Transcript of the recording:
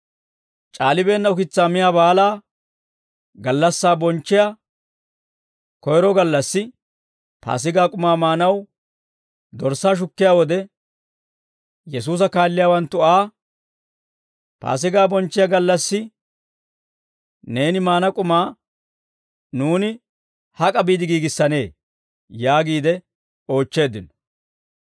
C'aalibeenna ukitsaa miyaa baalaa gallassaa bonchchiyaa koyro gallassi, Paasigaa k'umaa maanaw dorssaa shukkiyaa wode, Yesuusa kaalliyaawanttu Aa, «Paasigaa bonchchiyaa gallassi neeni maana k'umaa nuuni hak'a biide giigissanee?» yaagiide oochcheeddino.